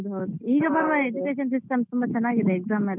ಹೌದು ಹೌದು ಈಗ ಪರವಾಗಿಲ್ಲ Education system ಎಲ್ಲ ಚೆನ್ನಾಗಿದೆ exam ಎಲ್ಲ.